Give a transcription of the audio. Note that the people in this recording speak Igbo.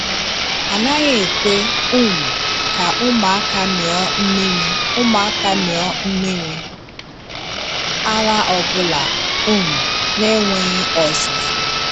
A naghị ekwe um ka ụmụaka mịọ mmiri ụmụaka mịọ mmiri ara ọbụla um na-enweghị ọzụzụ.